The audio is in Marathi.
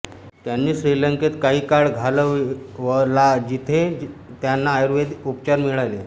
त्यांनी श्रीलंकेत काही काळ घालवलाजिथे त्यांना आयुर्वेदिक उपचार मिळाले